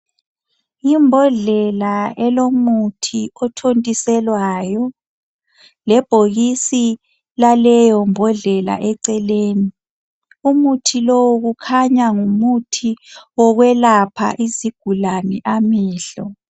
Imbodlela elomuthi othontiselwayo lebhokisi laleyo mbodlela eceleni umuthi lowu kukhanya ngumuthi wokwelapha izigulani amehlo